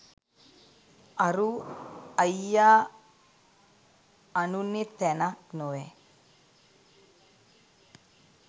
අරූ අයියා අනුනෙ තැනක් නොවැ